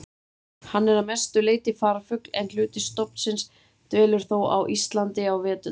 Hann er að mestu leyti farfugl en hluti stofnsins dvelur þó á Íslandi á veturna.